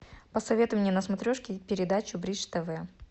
посоветуй мне на смотрешке передачу бридж тв